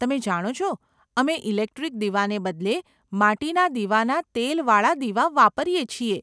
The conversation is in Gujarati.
તમે જાણો છો, અમે ઇલેક્ટ્રિક દીવાને બદલે માટીના દીવાના તેલવાળા દીવા વાપરીએ છીએ.